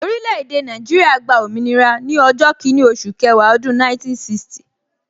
Orile-ede Naijiria gba òmìnira ni ọjọ́ kinni oṣù kẹwàá ọdún 1960